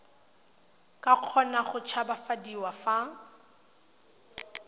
ka kgona go tshabafadiwa fa